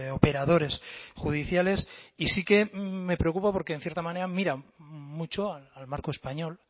operadores judiciales y sí que me preocupa porque en cierta manera miran mucho al marco español